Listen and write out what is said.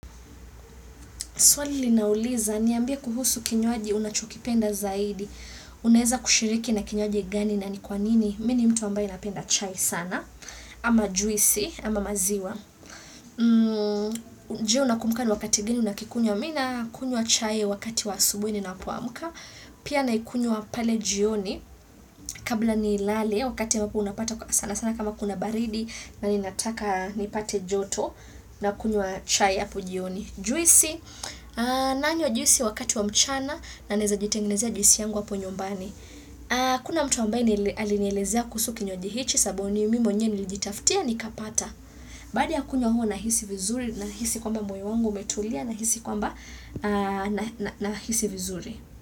Swali lina uliiza niambie kuhusu kinywaji unachokipenda zaidi? Unaeza kushiriki na kinywaji gani na ni kwanini?. Mini mtu ambaye napenda chai sana. Ama juisi ama maziwa. Je, unakubuka ni wakati gani unakikunya. Mi nakunywa chai wakati wa asubuhi ninapoamka. Pia naikunywa pale jioni. Kabla ni lale wakati ambapo unapata sana sana kama kuna baridi. Na ni nataka nipate joto na kunywa chai app jioni juisi. Nanwa juisi wakati wa mchana na naeza jitengenezea juisi yangu hapo nyumbani kuna mtu ambaye alinelezea kuhusu kinywaji hichi sababu ni mimi mwnyewe nilijitafutia nikipata baada kunywa huo nahisi vizuri nahisi kwamba moyo wangu umetulia nahisi kwamba naisi vizuri.